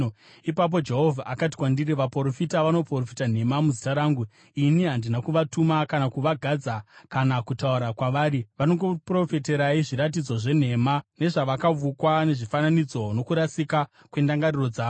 Ipapo Jehovha akati kwandiri, “Vaprofita vanoprofita nhema muzita rangu. Ini handina kuvatuma kana kuvagadza kana kutaura kwavari. Vanokuprofitirai zviratidzo zvenhema, nezvakavukwa, nezvifananidzo nokurasika kwendangariro dzavo.